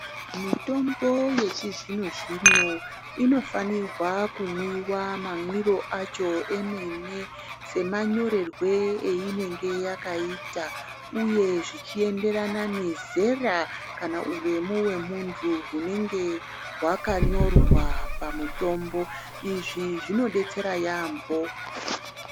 Mitombo yechizvino-zvino inofanirwa kumwiwa mamwiro acho emene, semanyorerwe einenge yakaita, uye zvichienderana nezera kana uremu hwemuntu, hunenge hwakanyorwa pamutombo. Izvi zvinodetsera yaampho.